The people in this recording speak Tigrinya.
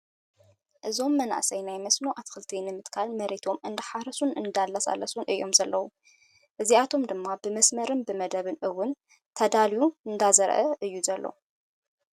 እዞም መናእሰይ ናይ መስኖ ኣትክልቲ ንምትካል መሬቶም እንዳሓረሱን እንዳላሳለሱን እዮም ዘለው። እዚኣቶም ድማ ብመስመርን ብመደብን እውን ተዳልዩ እንዳዘርኣ እዩ ዘሎ።